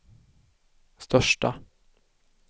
största